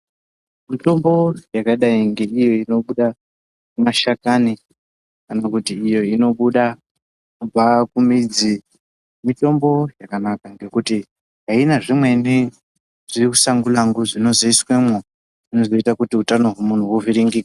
Mitombo yakadai neiyo inobuda mashakani kana kuti iyo inobuda kumidzi mitombo yakanaka ngekuti Aina zvimweni zvimusangulangu zvinozoiswamwo zvinozoita hutano hwemuntu uvhurimgike.